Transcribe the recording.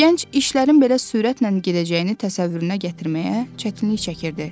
Gənc işlərin belə sürətlə gedəcəyini təsəvvürünə gətirməyə çətinlik çəkirdi.